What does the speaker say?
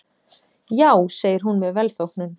Já segir hún með velþóknun.